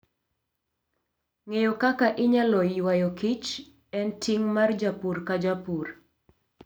Ng'eyo kaka inyalo ywayoKich en ting' mar japur ka japur.